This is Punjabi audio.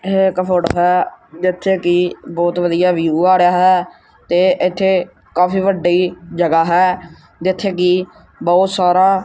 ਏਹ ਇੱਕ ਫੋਟੋ ਹੈ ਜਿੱਥੇ ਕੀ ਬਹੁਤ ਵਧੀਆ ਵਿਊ ਆ ਰਿਹਾ ਹੈ ਤੇ ਇੱਥੇ ਕਾਫੀ ਵੱਡੀ ਜਗ੍ਹਾ ਹੈ ਜਿੱਥੇ ਕਿ ਬਹੁਤ ਸਾਰਾ--